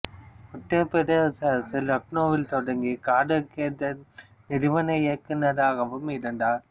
உத்தரபிரதேச அரசு லக்னோவில் தொடங்கிய கதக் கேந்திரத்தின் நிறுவனர் இயக்குநராகவும் இருந்தார்